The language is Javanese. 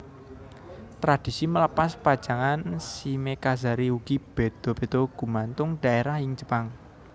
Tradisi melepas pajangan shimekazari ugi béda béda gumantung dhaérah ing Jepang